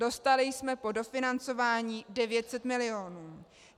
Dostali jsme po dofinancování 900 milionů.